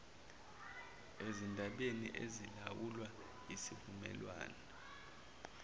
ezindabeni ezilawulwa yisivumelwane